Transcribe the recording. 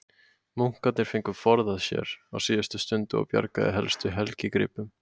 Munkarnir fengu forðað sér á síðustu stundu og bjargað helstu helgigripum.